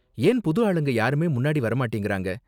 ஏன் புது ஆளுங்க யாருமே முன்னாடி வர மாட்டேங்குறாங்க.